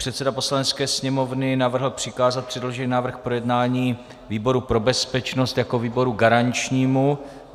Předseda Poslanecké sněmovny navrhl přikázat předložený návrh k projednání výboru pro bezpečnost jako výboru garančnímu.